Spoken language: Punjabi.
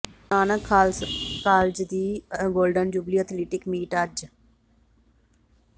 ਗੁਰੂ ਨਾਨਕ ਖ਼ਾਲਸਾ ਕਾਲਜ ਦੀ ਗੋਲਡਨ ਜੁਬਲੀ ਅਥਲੈਟਿਕ ਮੀਟ ਅੱਜ